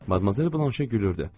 Madmazer Blanşi gülürdü.